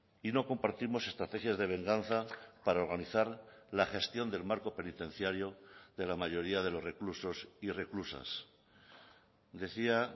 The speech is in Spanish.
y no compartimos estrategias de venganza para organizar la gestión del marco penitenciario de la mayoría de los reclusos y reclusas decía